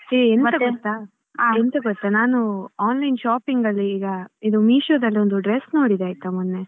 ಎಂತ ಗೊತ್ತಾ ನಾನು online shopping ಅಲ್ಲಿ ಈಗ ಇದು Meesho ದಲ್ಲಿ ಒಂದ್ dress ನೋಡಿದೇ ಆಯ್ತಾ ಮೊನ್ನೆ .